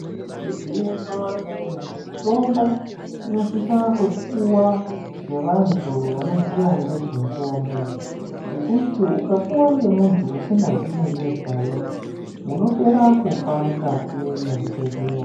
Igwinyiso remenemene mutombo inosisa kupuwa ngevanthu vanoziya ngezvemutombo ngekuti ukapuwa ngemunthu usingazii ngezvayo munopera kufa mukati mwezvibhedhlera.